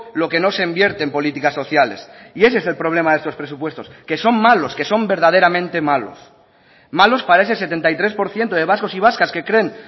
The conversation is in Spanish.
lo que no se invierte en políticas sociales y ese es el problema de estos presupuestos que son malos que son verdaderamente malos malos para ese setenta y tres por ciento de vascos y vascas que creen